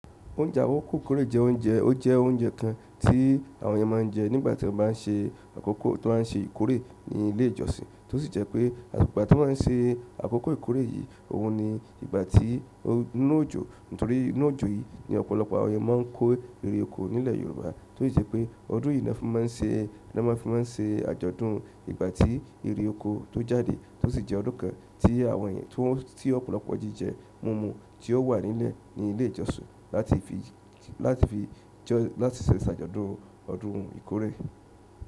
Oúnjẹ àwọ̀kòkòré jẹ́ oúnjẹ, ó jẹ́ oúnjẹ kan tí àwọn èèyàn máa ń jẹ nígbà tí wọ́n bá ń ṣe àkókò tó máa ń ṣe ìkórè ní ilé ìjọsìn, tó sì jẹ́ pé ìgbà tí wọ́n á ṣe àkókò ìkórè yìí, òun ni ìgbà tí inú òjò, nítorí inú òjò yìí ni ọ̀pọ̀lọpọ̀ àwọn èèyàn máa ń kó ere oko nílẹ̀ Yorùbá, tó sì jẹ́ pé ọdún yìí ni wọ́n fi máa ń ṣe, ni wọ́n fi máa ń ṣe àjọ̀dún ìgbà tí ìrì oko tó jáde, tó sì jẹ́ ọdún kan tí àwọn èèyàn tó, tí ọ̀pọ̀lọpọ̀ jíjẹ mumu tí ó wà nílẹ̀ ní ilé ìjọsìn láti fi, láti fi jọ́, láti ṣe ìṣàjọdún ọdún ìkórè.